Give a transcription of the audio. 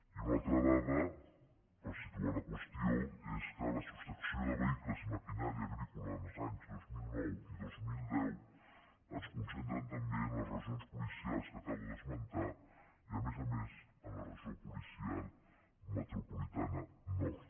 i una altra dada per situar la qüestió és que la sostracció de vehicles i maquinària agrícola els anys dos mil nou i dos mil deu es concentra també en les regions policials que acabo d’esmentar i a més a més en la regió policial metropolitana nord